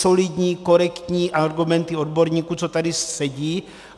Solidní, korektní argumenty odborníků, co tady sedí.